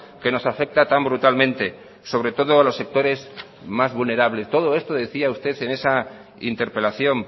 que nos afecta tan brutalmente sobre todo a los sectores más vulnerables todo esto lo decía usted en esa interpelación